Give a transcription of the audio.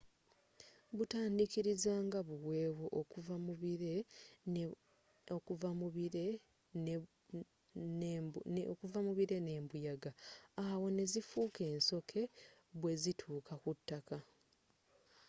butandiikiriza nga buweewo okuva mubire nembuyaga awo nezifuuka ensoke bwezituuka kutaka